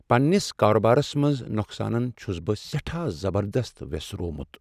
پننس کاربارس منز نقصانن چھس بہٕ سیٹھاہ زبردست ویسروومُت۔